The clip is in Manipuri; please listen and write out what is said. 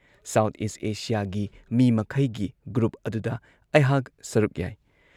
ꯁꯥꯎꯊ ꯏꯁꯠ ꯑꯦꯁꯤꯌꯥꯒꯤ ꯃꯤ ꯃꯈꯩꯒꯤ ꯒ꯭ꯔꯨꯞ ꯑꯗꯨꯗ ꯑꯩꯍꯥꯛ ꯁꯔꯨꯛ ꯌꯥꯏ ꯫